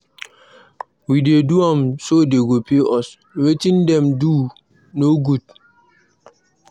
We dey do am so dey go pay us, wetin dem dey do no good